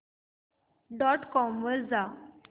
dot com वर जा